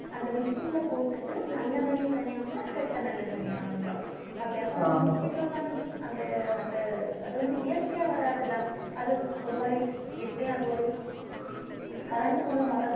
அந்த machine ல போட்டுட்டு நல்ல நெல்லு தனியா வந்துரும் கெட்ட நெல்லு தனியா வந்துரும் அப்படி அப்ப அந்த machine ல உள்ள அந்த அந்த அது வந்து இயற்கையா வராது இல்லை? அது ஒரு மாதிரி எப்படியும் அந்த ஒரு current மூலம் வர்றது